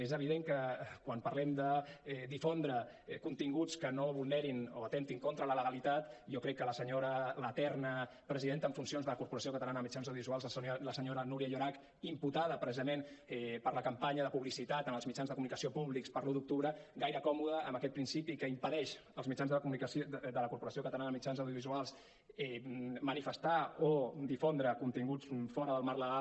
és evident que quan parlem de difondre continguts que no vulnerin o atemptin contra la legalitat jo crec que la senyora l’eterna presidenta en funcions de la corporació catalana de mitjans audiovisuals la senyora núria llorach imputada precisament per la campanya de publicitat en els mitjans de comunicació públics per l’un d’octubre gaire còmoda amb aquest principi que impedeix als mitjans de la corporació catalana de mitjans audiovisuals manifestar o difondre continguts fora del marc legal